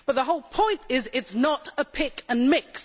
But the whole point is that it is not a pick and mix.